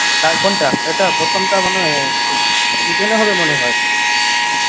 কার কোনটা এটা প্রথমটা মনে হয় এর তোর ইডেনে হবে মনে হয়